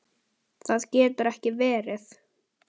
Það getur ekki verið